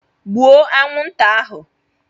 Gbụo anwụnta ahụ!